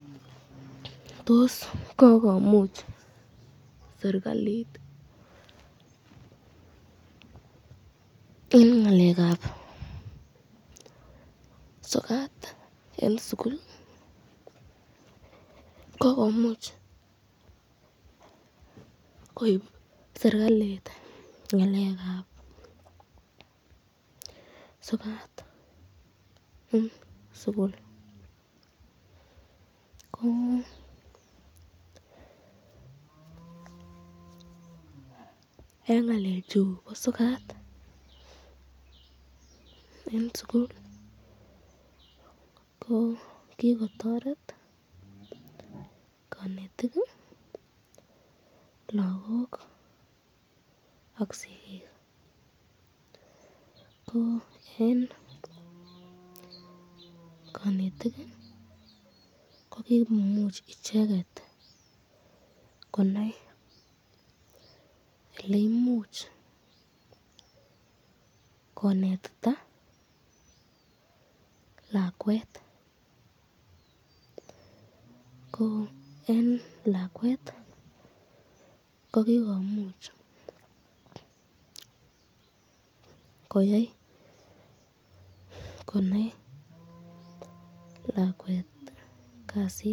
Tos kokomuch serikalit eng ngalekab sokat eng sukul, kokomuch koib serikalit ngalekab sokat eng sukul ko eng ngalechu bo sokat eng sukul ko kikotoret kanetik ,lagok ak sikik, ko eng kanetik kokikomuch icheket konai eleimuch kinetita lakwet ko eng lakwet ko kikomuch koyai konai lakwet kasit.